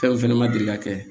Fɛn fɛnɛ ma deli ka kɛ